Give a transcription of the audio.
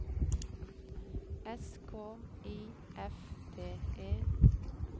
S K I F T E